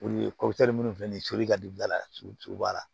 O ye minnu filɛ nin ye toli ka don da la togo togo a la